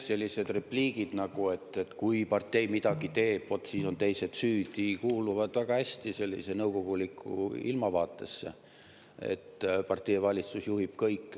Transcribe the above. Sellised repliigid nagu "kui partei midagi teeb, vot siis on teised süüdi" kuuluvad väga hästi kokku nõukoguliku ilmavaatega – partei ja valitsus juhivad kõike.